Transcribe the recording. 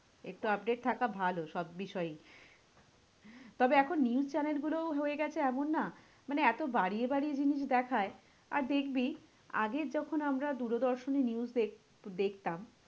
একটু update থাকা ভালো সব বিষয়ই। তবে এখন news channel গুলোও হয়ে গেছে এমন না? মানে এতো বাড়িয়ে বাড়িয়ে জিনিস দেখায়, আর দেখবি আগে যখন আমরা দূরদর্শন এ news দেখ~ দেখতাম?